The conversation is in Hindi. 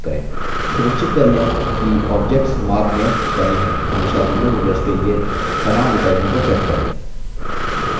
सुनिश्चित कर लें कि objects माप में बने to हमेशा दोनों rulers के लिए समान इकाइयों को set करें